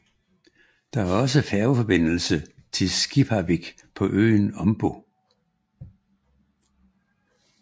Det er også færgeforbindelse til Skipavik på øen Ombo